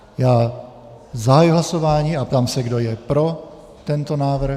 Já zahajuji hlasování a ptám se, kdo je pro tento návrh...